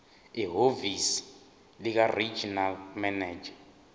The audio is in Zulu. ehhovisi likaregional manager